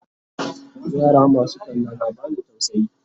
yara masu talla na bani tausayi